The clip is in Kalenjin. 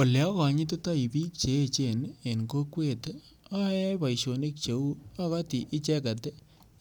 Ole akonyititoi piik cheechen eng' kokwet ayoe boishonik cheu akoti icheget